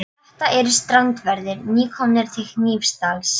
Þetta eru strandverðir, nýkomnir til Hnífsdals.